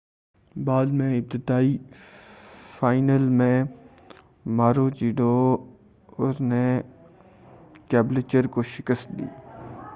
بعد میں ابتدائی فائنل میں ماروچیڈور نے کیبلچر کو شکست دی